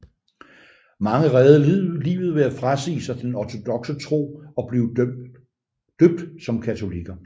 Mange reddede livet ved at frasige sig den ortodokse tro og blive døbt som katolikker